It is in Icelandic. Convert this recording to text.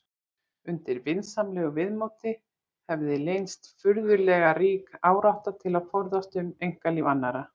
Undir vinsamlegu viðmóti hefði leynst furðulega rík árátta til að forvitnast um einkalíf annarra.